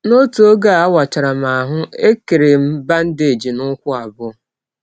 N’ọtụ ọge a wachara m ahụ́, e kere m bandeeji n’ụkwụ abụọ.